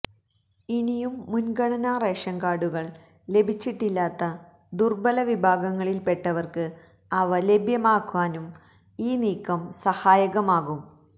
ഇനിയും മുന്ഗണന റേഷന് കാര്ഡുകള് ലഭിച്ചിട്ടില്ലാത്ത ദുര്ബല വിഭാഗങ്ങളില്പ്പെട്ടവര്ക്ക് അവ ലഭ്യമാക്കാനും ഈ നീക്കം സഹായകമാവും